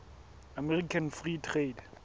american free trade